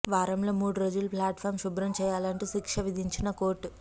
వారంలో మూడు రోజులు ప్లాట్ ఫాం శుభ్రం చేయాలంటూ శిక్ష విధించిన కోర్టు